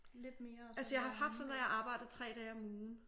Altså jeg har haft sådan at jeg arbejdede 3 dage om ugen